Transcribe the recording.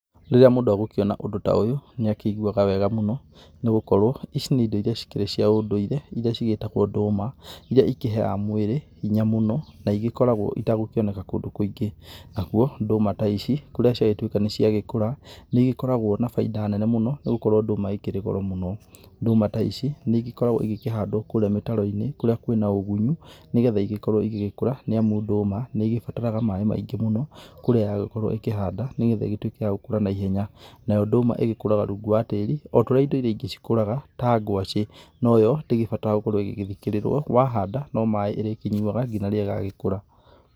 Rĩrĩa mũndũ agũkĩona ũndũ ta ũyũ, nĩ akĩiguaga wega mũno nĩ gũkorwo ici nĩ indo iria cikĩrĩ cia ũndũire iria cigĩĩtagwo ndũma, iria ikĩheaga mwĩrĩ hinya mũno ta igĩkorwo itagũkĩoneka kundu kũingi. Nakuo, nduma ta ici kũrĩa ciagĩtuĩka nĩ ciagĩkũra, nĩ igĩkoragwo na bainda nene mũno nĩ gũkorwo ndũma ĩkĩri goro mũno. Ndũma ta ici nĩ igĩkoragwo igĩkĩhandwo kũrĩa mĩtaro-inĩ kũrĩa kwĩna ũgunyi nĩ getha igĩkorwo igĩgĩkũra nĩ amu ndũma nĩ igĩbarataga maaĩ maingĩ mũno kũrĩa yagĩkorwo ĩkĩhanda nĩ getha ĩgĩtuĩke ya gũkũra na ihenya. Nayo ndũma ĩgikũraga rungu wa tĩri o ta ũrĩa indo iria ingĩ cikũraga ta gwaci, no yo ndĩgĩbataraga gũkorwo ĩgĩthikĩrĩrwo, wahanda, no maaĩ ĩrĩkĩnyuaga nginya rĩrĩa ĩgagĩkũra.